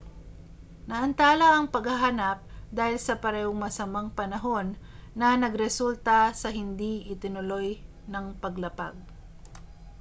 naantala ang paghahanap dahil sa parehong masamang panahon na nagresulta sa hindi itinuloy ng paglapag